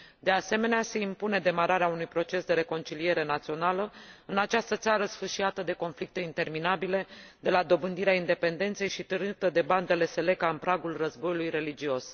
De asemenea, se impune demararea unui proces de reconciliere națională în această țară sfâșiată de conflicte interminabile de la dobândirea independenței și târâtă de bandele Séléka în pragul războiului religios.